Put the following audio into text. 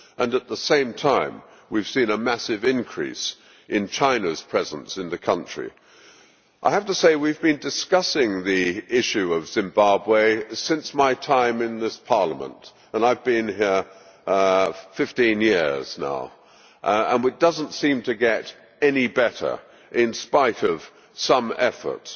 At the same time, we have seen a massive increase in China's presence in the country. I have to say that we have been discussing the issue of Zimbabwe since my time in this Parliament began and I have been here 15 years now and it does not seem to get any better, in spite of some efforts.